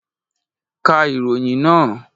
Ka ìròyìn nàá!